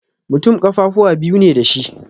Mutum ƙafafuwa biyu ne dashi